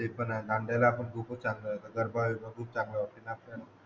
हो ते पण आहे दांडियाला आपण खूपच चांगला गरबाबीरब खूपच चांगला होते